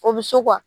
O bɛ se